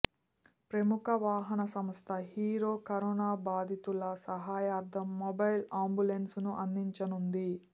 ప్రముఖ వాహన సంస్థ హీరో కరోనా బాధితుల సహాయార్థం మొబైల్ అంబులెన్సులను అందించనుంది